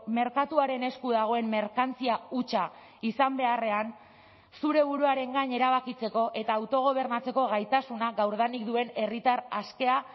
merkatuaren esku dagoen merkantzia hutsa izan beharrean zure buruaren gain erabakitzeko eta autogobernatzeko gaitasuna gaurdanik duen herritar askea